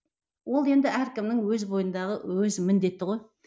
ол енді әркімнің өз бойындағы өз міндеті ғой